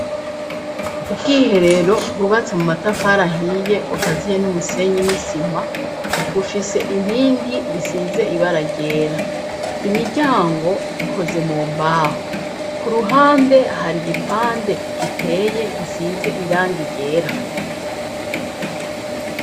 ubwiherero bubatse mu matafari ahiye bukaziye n'umusenyi n'isima bufise inkingi risize ibara ryera imiryango ikoze mu mbaho ku ruhande hari igipande giteye gisize irangi ryera